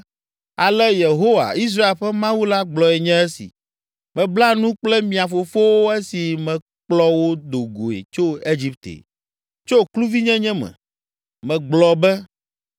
“Ale Yehowa, Israel ƒe Mawu la gblɔe nye esi: Mebla nu kple mia fofowo esi mekplɔ wo do goe tso Egipte, tso kluvinyenye me. Megblɔ be,